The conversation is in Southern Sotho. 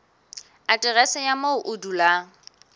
aterese ya moo o dulang